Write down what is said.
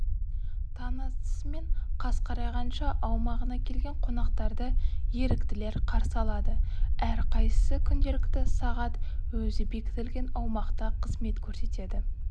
таң атысы мен қас қарайғанша аумағына келген қонақтарды еріктілер қарсы алады әрқайсысы күнделікті сағат өзі бекітілген аумақта қызмет көрсетеді